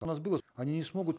у нас было они не смогут